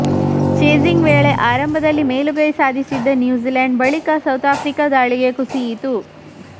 chasing ವೇಳೆ ಆರಂಭದಲ್ಲಿ ಮೇಲುಗೈ ಸಾಧಿಸಿದ್ದ ನ್ಯೂಜಿಲೆಂಡ್ ಬಳಿಕ ಸೌತ್ ಆಫ್ರಿಕಾ ದಾಳಿಗೆ ಕುಸಿಯಿತು